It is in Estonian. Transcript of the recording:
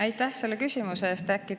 Aitäh selle küsimuse eest!